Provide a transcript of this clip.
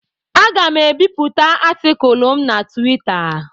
Aga m ebipụta atịkulụ m na Twita.